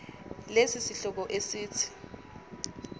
lesi sihloko esithi